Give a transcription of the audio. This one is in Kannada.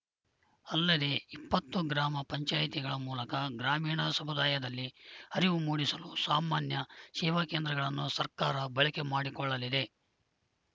ಅಲ್ಲದೇ ಇಪ್ಪತ್ತು ಗ್ರಾಮ ಪಂಚಾಯತಿಗಳ ಮೂಲಕ ಗ್ರಾಮೀಣ ಸಮುದಾಯದಲ್ಲಿ ಅರಿವು ಮೂಡಿಸಲು ಸಾಮಾನ್ಯ ಸೇವಾ ಕೇಂದ್ರಗಳನ್ನು ಸರ್ಕಾರ ಬಳಕೆ ಮಾಡಿಕೊಳ್ಳಲಿದೆ